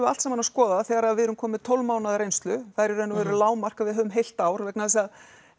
allt saman að skoða þegar við erum komin með tólf mánaða reynslu það er í rauninni lágmark að við höfum heilt ár vegna þess að